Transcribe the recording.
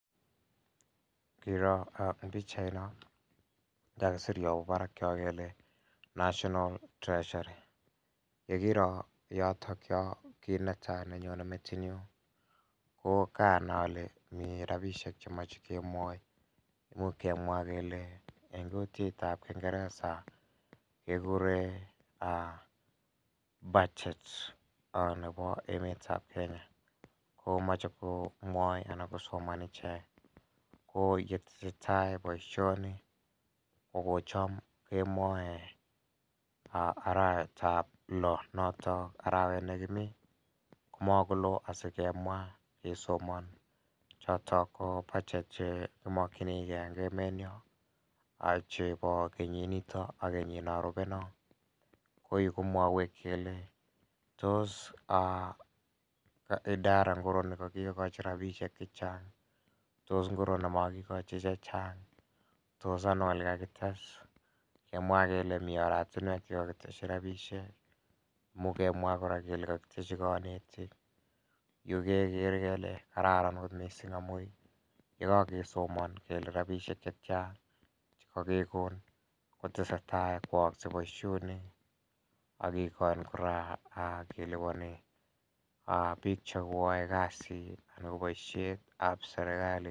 Ngiro eng' pikchaino kakiser yobo barak yo kele national treasury yekiro yotokyo kiit netai nenyonei metinyu ko kaanai ale mii robishek chemochei kemwoi muuch kemwa kele eng' kutitab kingeresa kekuren budget nebo emetab Kenya komochei komwoi anan kosoman ichek ko yetesei tai boishoni kokocham kemwoei arawetab loo noto arawet nekimi komakolo asikemwa kesoman choto ko budget che kimokchinigei eng' emenyo chebo kenyinito ak keyino rubei no ko kimwowech kele tos idara ngoro nikakikoch rabishek chechang' tos ngiro nemakikochi chechang' tos ano ole kakite kemwa kele mi oratinwek chekakiteshi rabishek muuch kemwa kora kele kakiteshi konetik yu kekere kele kararan akot mising' amu yekakesomon kele rabishek chetyan chekakekon kotesei tai koyoyoskei boishonik akekon kora kelipani biik chekoyoei kasi anan ko boishetab serikali